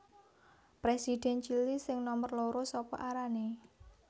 Presiden Chili sing nomer loro sapa arane